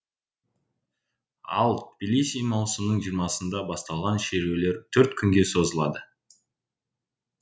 ал тибилиси маусымның жиырмасында басталған шерулер төрт күнге созылды